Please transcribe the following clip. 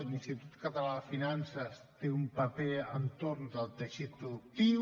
l’institut català de finances té un paper entorn del teixit productiu